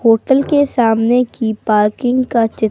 hotel के सामने की पार्किंग का चित्र--